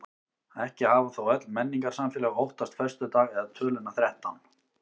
Ekki hafa þó öll menningarsamfélög óttast föstudag eða töluna þrettán.